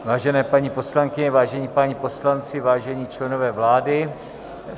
Vážené paní poslankyně, vážení páni poslanci, vážení členové vlády.